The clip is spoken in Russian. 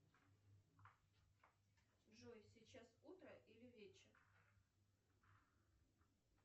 джой сейчас утро или вечер